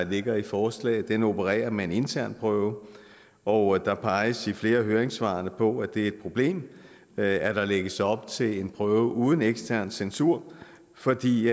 ligger i forslaget opererer med en intern prøve og der peges i flere af høringssvarene på at det er et problem at at der lægges op til en prøve uden ekstern censur fordi